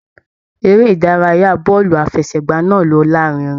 Eré ìdárayá bọọlu àfẹ́sẹ̀gbà náà ló larinrin.